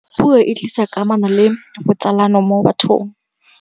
puo e tlisa kamano le botsalano mo bathong